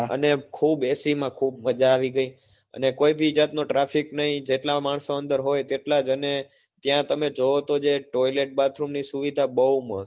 અને ખુબ ac માં ખુબ મજા આવી ગયી અને કોઈ બી જાત નો traffic નહિ જેટલા માણસો અંદર હોય તેટલાજ અને ત્યાં તમે જોવો તો જે toilat bathroom ની સુવિધા બહું મસ્ત